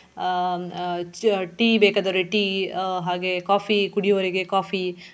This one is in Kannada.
ಹ್ಮ್ ಆಹ್ ಚ~ tea ಬೇಕಾದ್ರೆ tea ಆಹ್ ಹಾಗೆ coffee ಕುಡಿಯುವವರಿಗೆ coffee .